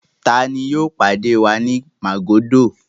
Ta ni yóò pàdé wa ní Màgódò?